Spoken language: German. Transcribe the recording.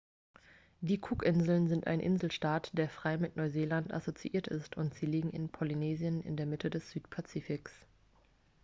die cookinseln sind ein inselstaat der frei mit neuseeland assoziiert ist und sie liegen in polynesien in der mitte des südpazifiks